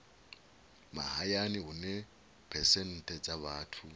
mahayani hune phesenthe dza vhathu